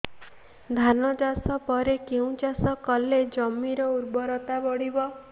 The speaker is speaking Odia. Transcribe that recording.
ଧାନ ଚାଷ ପରେ କେଉଁ ଚାଷ କଲେ ଜମିର ଉର୍ବରତା ବଢିବ